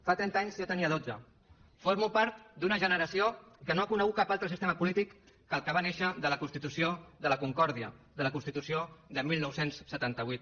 fa trenta anys jo en tenia dotze formo part d’una generació que no ha conegut cap altre sistema polític que el que va néixer de la constitució de la concòrdia de la constitució del dinou setanta vuit